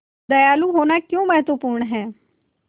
दयालु होना क्यों महत्वपूर्ण है